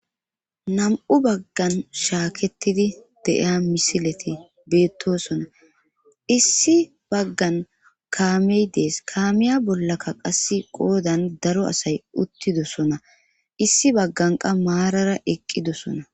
Nam7u baggan shaaketidi de7iya misileti beettosona issi baggan kaamey dees kaamiya bollaka qasse qoodan daro asay uttidosona issi bagganqa maarara eqqidosona.